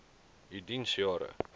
u diens jare